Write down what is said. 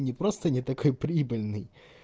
не просто не такой прибыльный